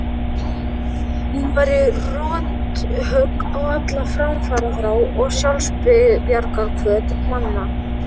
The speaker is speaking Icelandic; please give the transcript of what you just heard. Hún væri rothögg á alla framfaraþrá og sjálfsbjargarhvöt manna.